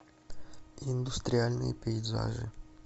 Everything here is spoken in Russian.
индустриальные пейзажи